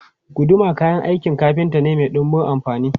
Guduma kayan aikin kafinta ne mai dunbun amfani.